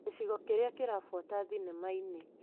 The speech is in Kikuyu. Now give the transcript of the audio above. Gĩcigo kĩrĩa kĩrabuata thinema-inĩ .